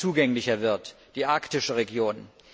zugänglicher wird die arktische Region.